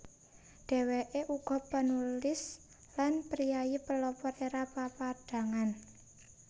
Dhèwèké uga panulis lan priyayi pelopor Era Papadhangan